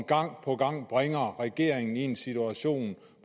gang på gang bringer regeringen i en situation